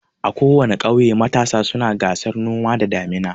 A kowana ƙauye matasa suna gasan noma da damina.